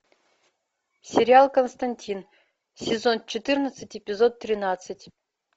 сериал константин сезон четырнадцать эпизод тринадцать